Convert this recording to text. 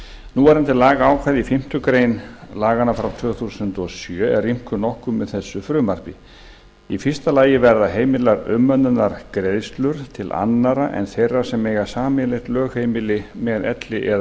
núverandi lagaákvæði í fimmtu grein laganna frá tvö þúsund og sjö er rýmkað nokkuð með frumvarpi þessu í fyrsta lagi verða heimilar umönnunargreiðslur til annarra en þeirra sem eiga sameiginlegt lögheimili með elli eða örorkulífeyrisþeganum